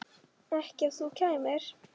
Ekki ef þú kæmir.